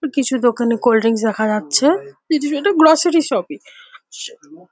কিছু দোকানে কোল্ড্রিংক্স দেখা যাচ্ছে। গ্রোসারি শপ ই --